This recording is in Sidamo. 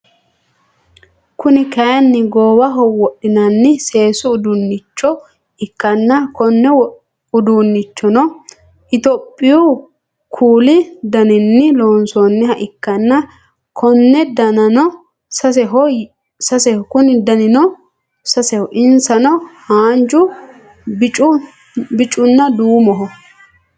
Kuni kaayiini goowaho wodinaniha seesu uduunicho ikkanna konne uduunnichono itiyoopiyu kuli daninni loonsooniha ikkanna Konni danino saseho insano haanjju bicunna duumoho